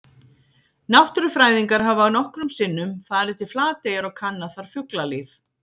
Náttúrufræðingar hafa nokkrum sinnum farið til Flateyjar og kannað þar fuglalíf.